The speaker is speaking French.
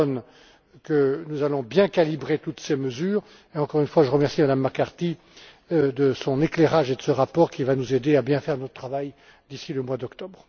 Pallone que nous allons bien calibrer toutes ces mesures. Encore une fois, je remercie Mme McCarthy de son éclairage et de son rapport, qui va nous aider à bien faire notre travail d'ici le mois d'octobre.